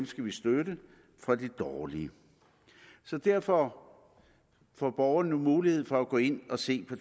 skal støtte fra de dårlige så derfor får borgerne mulighed for at gå ind og se på